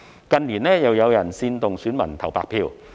近年，又有人煽動選民投"白票"。